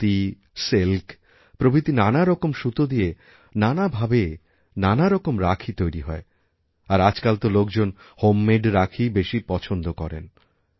সুতী silk প্রভৃতি নানারকম সুতো দিয়ে নানা ভাবে নানা রকম রাখীতৈরি হয় আর আজকাল তো লোকজন হোমমেড রাখিই বেশি পছন্দ করেন